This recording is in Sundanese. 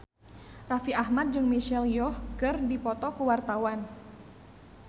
Raffi Ahmad jeung Michelle Yeoh keur dipoto ku wartawan